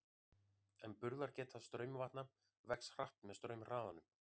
En burðargeta straumvatna vex hratt með straumhraðanum.